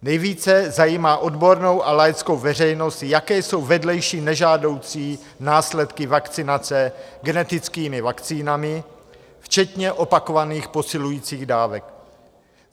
Nejvíce zajímá odbornou a laickou veřejnost, jaké jsou vedlejší nežádoucí následky vakcinace genetickými vakcínami včetně opakovaných posilujících dávek.